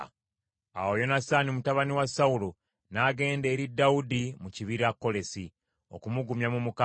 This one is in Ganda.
Awo Yonasaani mutabani wa Sawulo n’agenda eri Dawudi mu kibira, Kolesi, okumugumya mu Mukama .